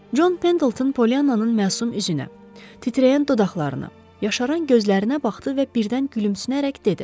John Pendleton Polyannanın məsum üzünə, titrəyən dodaqlarına, yaşaran gözlərinə baxdı və birdən gülümsünərək dedi: